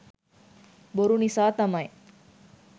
බොරු නිසා තමයි